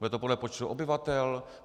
Bude to podle počtu obyvatel?